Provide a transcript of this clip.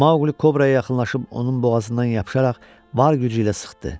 Maqli Kobraya yaxınlaşıb onun boğazından yapışaraq var gücü ilə sıxdı.